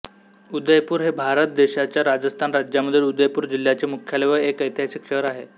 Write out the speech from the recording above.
उदयपूर हे भारत देशाच्या राजस्थान राज्यामधील उदयपूर जिल्ह्याचे मुख्यालय व एक ऐतिहासिक शहर आहे